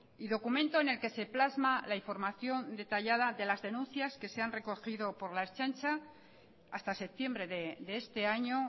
y documento en el que se plasma la información detallada de las denuncias que se han recogido por la ertzaintza hasta septiembre de este año